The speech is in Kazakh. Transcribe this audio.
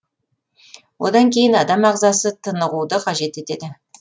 одан кейін адам ағзасы тынығуды қажет етеді